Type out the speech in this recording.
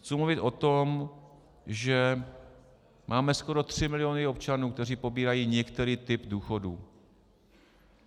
Chci mluvit o tom, že máme skoro 3 miliony občanů, kteří pobírají některý typ důchodu.